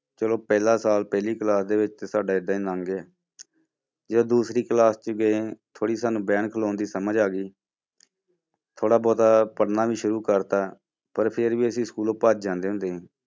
ਚਲੋ ਪਹਿਲਾ ਸਾਲ ਪਹਿਲੀ class ਦੇ ਵਿੱਚ ਸਾਡਾ ਏਦਾਂ ਹੀ ਲੰਘ ਗਏ ਜਦ ਦੂਸਰੀ class 'ਚ ਗਏ ਥੋੜ੍ਹੀ ਸਾਨੂੰ ਬਹਿਣ ਖਲਾਉਣ ਦੀ ਸਮਝ ਆ ਗਈ ਥੋੜ੍ਹਾ ਬਹੁਤ ਪੜ੍ਹਨਾ ਵੀ ਸ਼ੁਰੂ ਕਰ ਦਿੱਤਾ, ਪਰ ਫਿਰ ਵੀ ਅਸੀਂ ਸਕੂਲੋਂ ਭੱਜ ਜਾਂਦੇ ਹੁੰਦੇ ਸੀ।